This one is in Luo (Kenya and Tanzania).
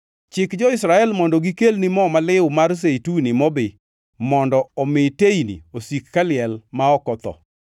“Chik jo-Israel mondo gikelni mo maliw mar zeituni mobi mondo omi teyni osik kaliel ma ok otho.